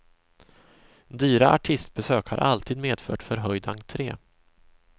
Dyra artistbesök har alltid medfört förhöjd entre.